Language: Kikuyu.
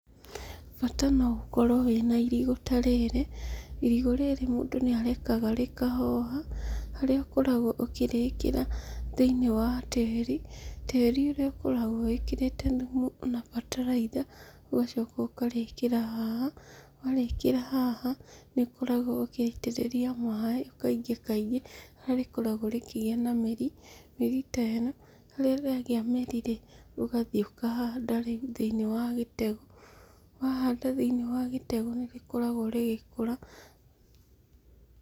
Bata no ũkorwo wĩ na irigũ ta rĩrĩ. Irigũ rĩrĩ mũndũ nĩ arekaga rĩkahoha, harĩa ũkoragwo ũkĩrĩkĩra thĩinĩi wa tĩrĩ. Tĩrĩ nĩ ũkoragwo wĩkĩrĩte thumu o na bataraitha, ũgacoka ũkarĩkĩra haha, warĩkĩra haha, nĩ ũkoragwo ũgĩitĩrĩria maĩ kaingĩ kaingĩ, harĩa rĩkoragwo rĩkĩgĩa na mĩri. Mĩri ta ĩno, rĩrĩa rĩagĩa mĩri rĩ, ũgathiĩ ũkahanda thĩiniĩ wa gĩtegũ. Wahanda rĩ thiĩniĩ wa gĩtegũ, nĩ rĩkoragwo rĩgĩkũra.